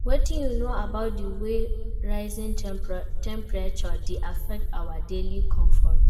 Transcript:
Wetin you know about di way rising temperatures dey affect our daily comfort?